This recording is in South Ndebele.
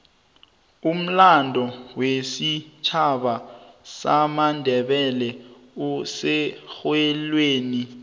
umlando wesitjhaba samandebele userholweni